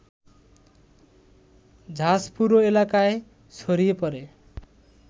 ঝাঁজ পুরো এলাকায় ছড়িয়ে পড়ে